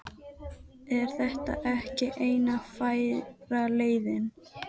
Vápni, hefur þú prófað nýja leikinn?